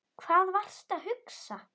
Hvað varstu að hugsa?